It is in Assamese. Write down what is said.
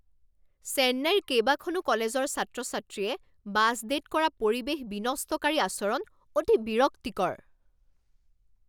চেন্নাইৰ কেইবাখনো কলেজৰ ছাত্ৰ ছাত্ৰীয়ে বাছ ডে'ত কৰা পৰিৱেশ বিনষ্টকাৰী আচৰণ অতি বিৰক্তিকৰ।